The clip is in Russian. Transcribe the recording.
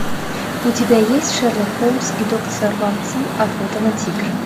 у тебя есть шерлок холмс и доктор ватсон охота на тигра